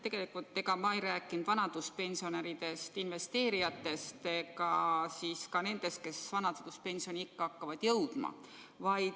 Tegelikult ma ei rääkinud vanaduspensionäridest, investeerijatest ega nendest, kes vanaduspensioniikka hakkavad jõudma.